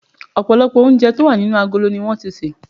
Òpòlòpò oúnje tí o wà nínú agolo ni won ti sè